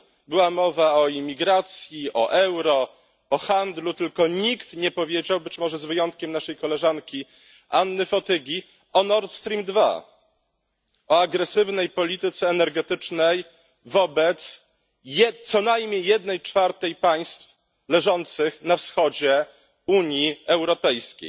Była mowa o imigracji, o euro, o handlu, tylko nikt nie powiedział być może z wyjątkiem naszej koleżanki Anny Fotygi o Nord Stream 2 i o agresywnej polityce energetycznej wobec co najmniej jednej czwartej państw leżących na wschodzie Unii Europejskiej.